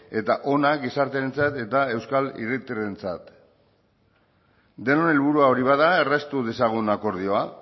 eta ona gizartearentzat eta euskal hiritarrentzat denon helburua hori bada erraztu dezagun akordioa